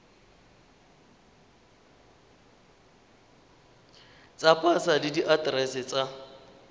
tsa pasa le diaterese tsa